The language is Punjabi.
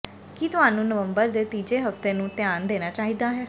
ਕੀ ਤੁਹਾਨੂੰ ਨਵੰਬਰ ਦੇ ਤੀਜੇ ਹਫ਼ਤੇ ਨੂੰ ਧਿਆਨ ਦੇਣਾ ਚਾਹੀਦਾ ਹੈ